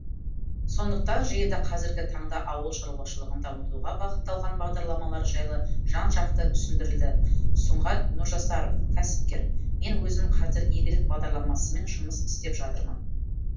сондықтан жиында қазіргі таңда ауыл шаруашылығын дамытуға бағытталған бағдарламалар жайлы жан жақты түсіндірілді сұңғат нұржасаров кәсіпкер мен өзім қазір игілік бағдарламасымен жұмыс істеп жатырмын